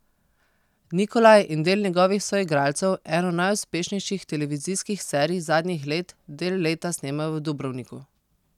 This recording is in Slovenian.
Nikolaj in del njegovih soigralcev eno najuspešnejših televizijskih serij zadnjih let del leta snemajo v Dubrovniku.